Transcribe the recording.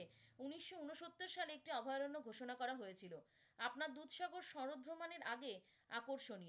উনিশশো উনসত্তর সালে একটি অভয়ারণ্য ঘোষণা করা হয়েছিল। আপনার দুধসাগরে শরৎ ভ্রমণের আগে আকর্ষণীয়।